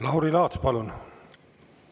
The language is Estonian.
Lauri Laats, palun!